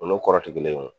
O n'o kɔrɔtigɛlen